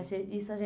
Isso a